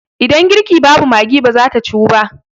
Idan girki babu Maggi ba za ta Ciwu ba.